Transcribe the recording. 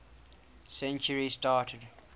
century started